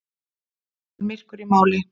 Hann var myrkur í máli.